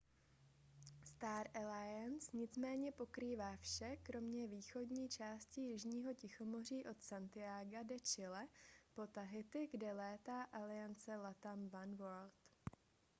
star alliance nicméně pokrývá vše kromě východní části jižního tichomoří od santiaga de chile po tahiti kde létá aliance latam oneworld